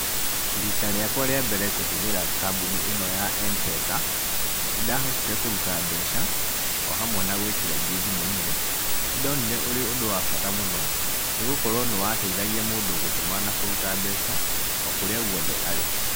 Rita rĩakwa rĩa mbere kũhũthĩra kambunĩ ĩno ya M-Pesa, nĩ ndahotire kũruta mbeca, o hamwe na gwĩkĩra ingĩ thimũ-inĩ. Nĩ ndonire ũrĩ ũndũ wa bata mũno, nĩ gũkorwo nĩ wateithagia mũndũ gũtũma na kũruta mbeca, o kũrĩa guothe arĩ.